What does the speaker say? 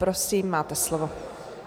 Prosím, máte slovo.